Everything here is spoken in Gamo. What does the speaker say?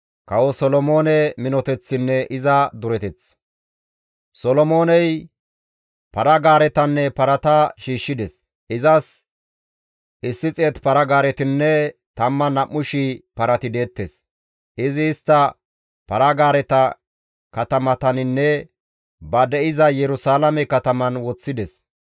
Solomooney para-gaaretanne parata shiishshides; izas 100 para-gaaretinne 12,000 parati deettes; izi istta para-gaareta katamataninne ba de7iza Yerusalaame kataman woththides.